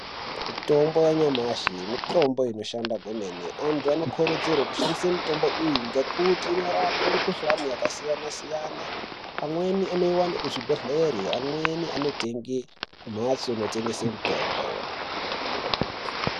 Mitombo yamashi mitombo inoshanda kwemene. Antu vanokurudzirwa kushandise mitombo iyi ngokuti inorape mikhuhlana yakasiyana siyana amweni anowana kuzvibhedhleri amweni anotenge kumbatso inotengese mutombo.